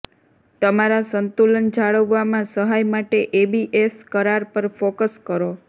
તમારા સંતુલન જાળવવામાં સહાય માટે એબીએસ કરાર પર ફોકસ કરો